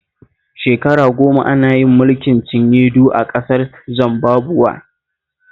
Shekara goma ana yin mulkin cinye-du a ƙasar Zimbabuwe